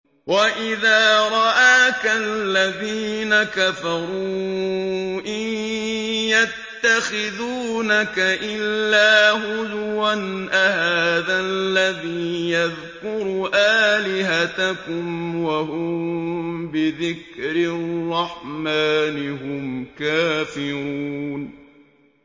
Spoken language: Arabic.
وَإِذَا رَآكَ الَّذِينَ كَفَرُوا إِن يَتَّخِذُونَكَ إِلَّا هُزُوًا أَهَٰذَا الَّذِي يَذْكُرُ آلِهَتَكُمْ وَهُم بِذِكْرِ الرَّحْمَٰنِ هُمْ كَافِرُونَ